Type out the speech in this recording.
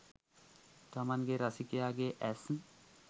තමන්ගේ රසිකයාගේ ඇස්